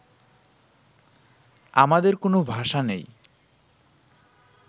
আমাদের কোনো ভাষা নেই